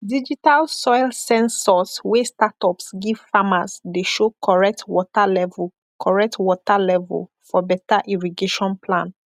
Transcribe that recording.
digital soil sensors wey startups give farmers dey show correct water level correct water level for better irrigation plan